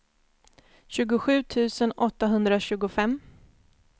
tjugosju tusen åttahundratjugofem